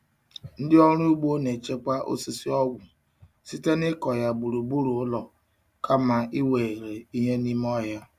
Ndị ọrụ ugbo na-echekwa osisi ọgwụ site n'ịkọ ya gburugburu ụlọ kama iwere ihe n'ime ọhịa.